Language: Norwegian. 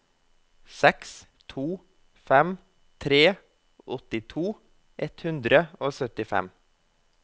seks to fem tre åttito ett hundre og syttifem